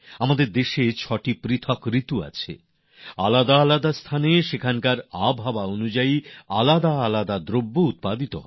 আমাদের দেশে আলাদা আলাদা ছয়টি ঋতু আছে আলাদা আলাদা এলাকায় সেখানকার জলবায়ুর হিসাবে আলাদা আলাদা সামগ্রী উৎপন্ন হয়